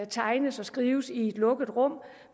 tegnes og skrives i et lukket rum